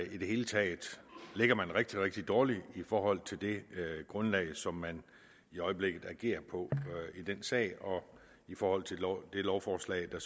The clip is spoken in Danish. i det hele taget ligger man rigtig rigtig dårligt i forhold til det grundlag som man i øjeblikket agerer på i denne sag og i forhold til det lovforslag der